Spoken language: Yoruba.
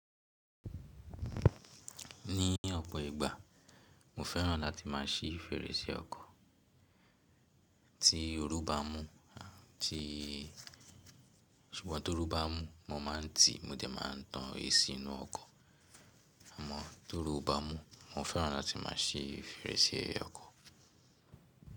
Ní ọ̀pọ̀ ìgbà mo fẹ́ràn láti má a ṣí fèrèsé ọkọ̀ tí oru bá mú à ti ṣùgbọ́n tó rù bá mú mo má a ń tì, mo dẹ̀ má a ń tán AC inú ọkọ̀. Àmọ́ tó rù oo bá mú, mo fẹ́ràn láti má a ṣí fèrèsé ọkọ̀.